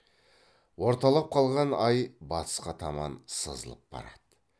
орталап қалған ай батысқа таман сызылып барады